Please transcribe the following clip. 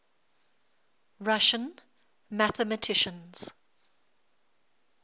russian mathematicians